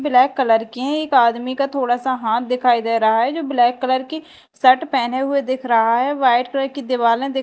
black colour के हैं एक आदमी का थोड़ा सा हाथ दिखाई दे रहा है जो ब्लैक कलर की शर्ट पहने हुए दिख रहा है वाइट कलर की दिवालें दिख --